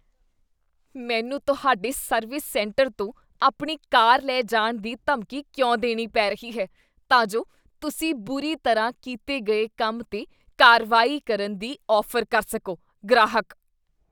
ਮੈਨੂੰ ਤੁਹਾਡੇ service centre ਤੋਂ ਆਪਣੀ ਕਾਰ ਲੈ ਜਾਣ ਦੀ ਧਮਕੀ ਕਿਉਂ ਦੇਣੀ ਪੈ ਰਹੀ ਹੈ ਤਾਂ ਜੋ ਤੁਸੀਂ ਬੁਰੀ ਤਰ੍ਹਾਂ ਕੀਤੇ ਗਏ ਕੰਮ 'ਤੇ ਕਾਰਵਾਈ ਕਰਨ ਦੀ ਔਫ਼ਰ ਕਰ ਸਕੋ? ਗ੍ਰਾਹਕ